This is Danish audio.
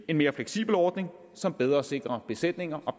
en mere fleksibel ordning som bedre sikrer besætninger og